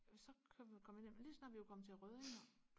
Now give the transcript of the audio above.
så kørte vi kom vi ned lige så snart vi var kommet til Røding